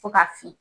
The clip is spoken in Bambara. Fo ka fin